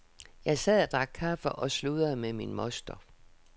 Jeg sad og drak kaffe og sludrede med min moster.